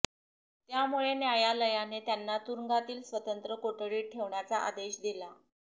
त्यामुळे न्यायालयाने त्यांना तुरूंगातील स्वतंत्र कोठडीत ठेवण्याचा आदेश दिला